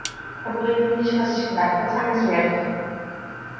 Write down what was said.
я буду ненавидеть вас всегда до самой смерти